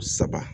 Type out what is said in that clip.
Saba